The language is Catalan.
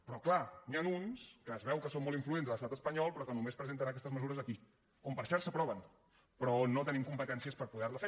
però clar n’hi ha uns que es veu que són molt influents a l’estat espanyol però que només presenten aquestes mesures aquí on per cert s’aproven però on no tenim competències per poder les fer